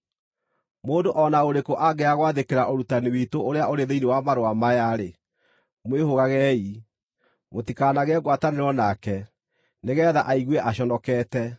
Mũndũ o na ũrĩkũ angĩaga gwathĩkĩra ũrutani witũ ũrĩa ũrĩ thĩinĩ wa marũa maya-rĩ, mwĩhũgagei. Mũtikanagĩe ngwatanĩro nake, nĩgeetha aigue aconokete.